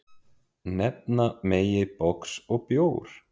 Nefna megi box og bjór.